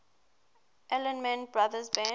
allman brothers band